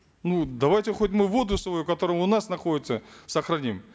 ну давайте хоть мы воду свою которая у нас находится сохраним